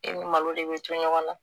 E ni malo de bɛ to ɲɔgɔn na